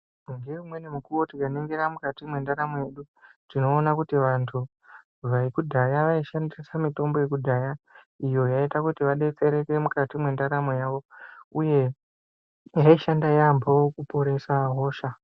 Ngeimweni mikuwo tikaningira mukati mwendaramo yedu, tinoona kuti vantu, vekudhaya vaishandisa mitombo yekudhaya ,iyo yaiita kuti vadetsereke mukati mwendaramo yavo, uye yaishanda yaampho kuporesa hosha.